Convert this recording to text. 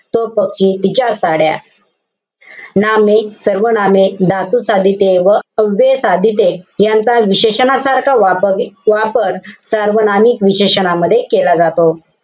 तो पक्षी. तिच्या साड्या. नामे, सर्वनामे, धातुसाधिते व अव्ययसाधिते यांचा विशेषणासारखा वाप~ वापर सार्वनामिक विशेषणामध्ये केला जातो.